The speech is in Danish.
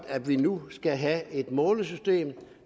at vi nu skal have et målesystem